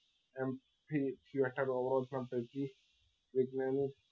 એમ થી theater house પહોચી વૈજ્ઞાનિક